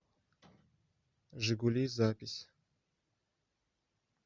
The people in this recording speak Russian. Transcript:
жигули запись